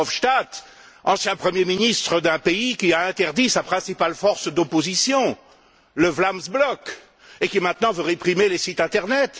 Verhofstadt, ancien premier ministre d'un pays qui a interdit sa principale force d'opposition le Vlaams Blok et qui, maintenant, veut réprimer les sites internet.